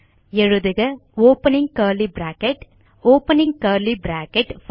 எழுதுக opening curly bracket opening curly bracket